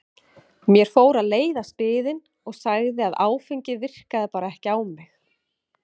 Mér fór að leiðast biðin og sagði að áfengið virkaði bara ekki á mig.